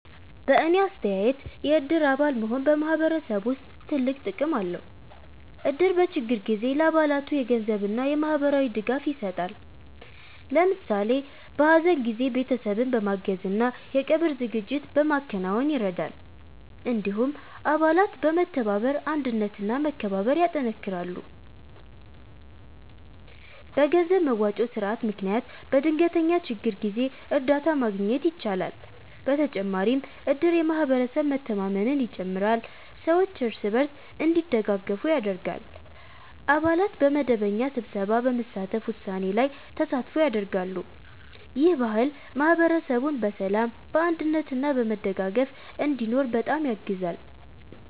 በእኔ አስተያየት የእድር አባል መሆን በማህበረሰብ ውስጥ ትልቅ ጥቅም አለው። እድር በችግር ጊዜ ለአባላቱ የገንዘብ እና የማህበራዊ ድጋፍ ይሰጣል። ለምሳሌ በሀዘን ጊዜ ቤተሰብን በማገዝ እና የቀብር ዝግጅት በማከናወን ይረዳል። እንዲሁም አባላት በመተባበር አንድነት እና መከባበር ያጠናክራሉ። በገንዘብ መዋጮ ስርዓት ምክንያት በድንገተኛ ችግር ጊዜ እርዳታ ማግኘት ይቻላል። በተጨማሪም እድር የማህበረሰብ መተማመንን ይጨምራል፣ ሰዎች እርስ በርስ እንዲደጋገፉ ያደርጋል። አባላት በመደበኛ ስብሰባ በመሳተፍ ውሳኔ ላይ ተሳትፎ ያደርጋሉ። ይህ ባህል ማህበረሰቡን በሰላም፣ በአንድነት እና በመደጋገፍ እንዲኖር በጣም ያግዛል።